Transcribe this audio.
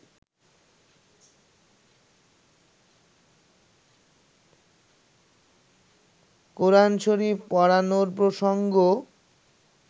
কোরআন শরিফ পোড়ানোর প্রসঙ্গ